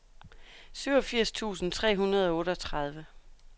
syvogfirs tusind tre hundrede og otteogtredive